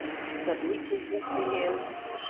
Það er lykill uppi í eldhússkáp.